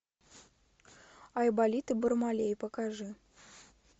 айболит и бармалей покажи